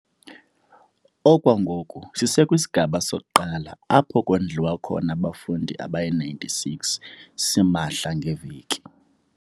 Okwangoku sisekwisigaba sokuqala apho kondliwa khona abafundi abayi-96 simahla ngeveki.